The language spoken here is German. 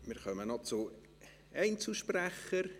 Wir kommen noch zu den Einzelsprechern: